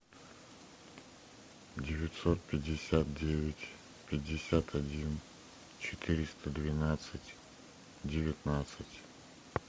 девятьсот пятьдесят девять пятьдесят один четыреста двенадцать девятнадцать